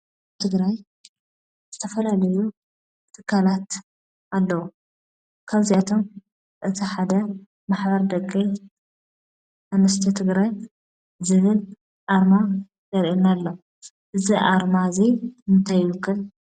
አብ ትግራይ ዝተፈላለዩ ትካላት አለው፡፡ ካብዚአቶም እቲ ሓደ ማሕበር ደቂ አንስትዮ ትግራይ ዝብል አርማ የርእየና አሎ፡፡ እዚ አርማ እዚ እንታይ ይውክል?